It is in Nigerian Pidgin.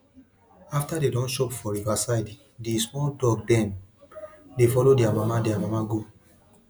after dem don chop for river side di small duck dem dey follow dia mama dia mama go